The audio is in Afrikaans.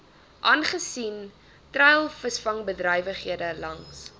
aangesien treilvisvangbedrywighede langs